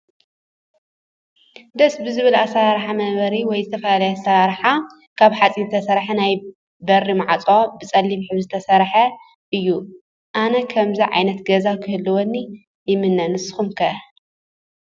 ደስ ብዝብል ኣሰራርሓ መንበሪ ወይ ዝተፈላየ ኣራርሓ ካብ ሓፂን ዝተሰረሐ ናይ በሪ ማዕፆ ብፀሊም ሕብሪ ዝሰረሐ እዩ። አነ ከምዙይ ዓይነት ገዛ ክህልወኒ ይምነ። ንስኩም ከ ?